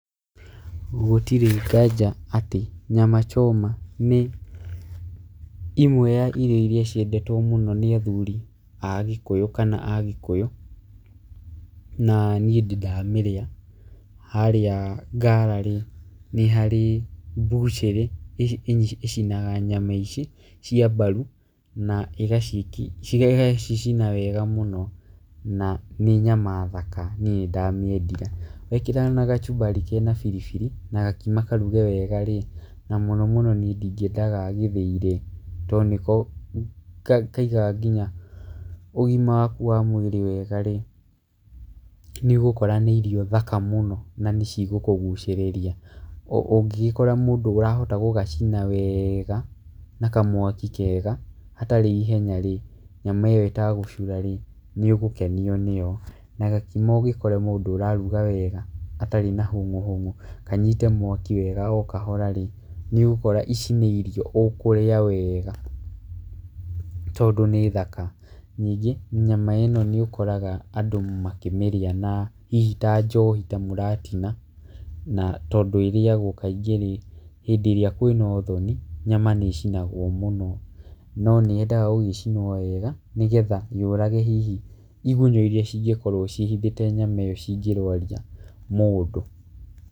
Gũtirĩ nganja atĩ nyama choma nĩ imwe ya irio irĩa ciendetwo mũno nĩ athuri a gĩkũyũ kana agĩkũyũ na niĩ ndĩ ndamĩrĩa. Harĩa Ngara rĩ nĩ harĩ mbucĩrĩ ĩcinaga nyama ici cia mbaru na ĩgacicina wega mũno, na nĩ nyama thaka niĩ nĩ ndamĩendire. Wekĩra na kachumbari na biribiri na gakima karuge wega rĩ, na mũno mũno nĩ ndingĩenda ga gĩthĩi rĩ, tondũ nĩko kaigaga ũgima waku wa mwĩrĩ wega rĩ, nĩ ũgũkora nĩ irio thaka mũna na nĩ cigũkũgucĩrĩria. Na ũngĩgĩkora mũndũ ũrahota gũgacina wega na kamwaki kega hatarĩ ihenya rĩ, nyama ĩyo ĩtagũcura rĩ, nĩ ũgũkenio nĩyo. Na gakima ugĩkore mũndũ ũraruga wega gatarĩ na hũngũ hũngũ, kanyite mwaki wega o kahora rĩ, nĩ ũgũkora ici nĩ irio ũkũrĩa wega tondũ nĩ thaka. Ningĩ nyama ĩno nĩ ukoraga andũ makĩmĩrĩa na hihi ta njohi ta mũratina. Na tondũ ĩrĩagwo kaingĩ rĩ, hĩndĩ ĩrĩa kwĩna ũthoni, nyama nĩ ĩciagwo mũno, no nĩ yendaga gũgĩcinwo wega nĩgetha yũrage hihi igunyũ irĩa cingĩkorwo ciĩhithĩte nyama ĩyo cingĩrũaria mũndũ.